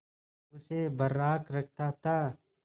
उसे बर्राक रखता था